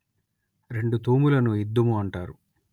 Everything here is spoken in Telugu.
రెండు తూములను ఇద్దుము అంటారు